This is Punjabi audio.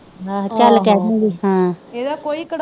ਆਹੋ ਚਲ ਕਹਿਦੂਗੀ ਹਾਂ